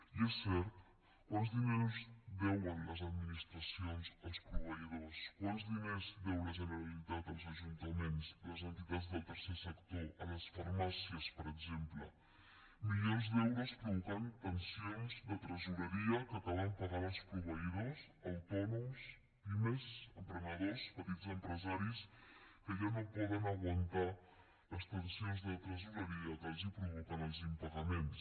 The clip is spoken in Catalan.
i és cert quants diners deuen les administracions als proveïdors quants diners deu la generalitat als ajuntaments les entitats del tercer sector a les farmàcies per exemple milions d’euros que provoquen tensions de tresoreria que acaben pagant els proveïdors autònoms pimes emprenedors petits empresaris que ja no poden aguantar les tensions de tresoreria que els provoquen els impagaments